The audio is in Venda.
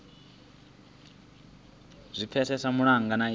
zwi pfesese malugana na iyi